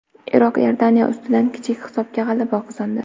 Iroq Iordaniya ustidan kichik hisobda g‘alaba qozondi.